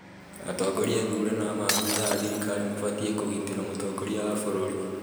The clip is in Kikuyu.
Atongoria athure na maabitha a thirikari mabatiĩ kũgitĩra mũtongoria wa bũrũri